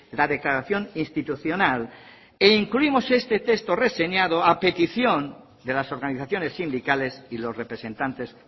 la declaración institucional e incluimos este texto reseñado a petición de las organizaciones sindicales y los representantes